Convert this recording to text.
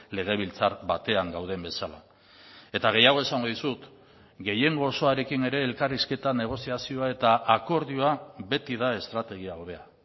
legebiltzar batean gauden bezala eta gehiago esango dizut gehiengo osoarekin ere elkarrizketa negoziazioa eta akordioa beti da estrategia hobea